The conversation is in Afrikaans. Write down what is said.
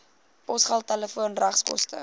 posgeld telefoon regskoste